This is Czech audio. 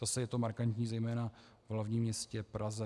Zase je to markantní zejména v hlavním městě Praze.